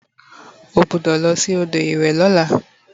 o gbudo losi odo iwe Lola!